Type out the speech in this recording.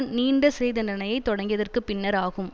நீண்ட சிறைதண்டனையைத் தொடங்கியதற்குப் பின்னர் ஆகும்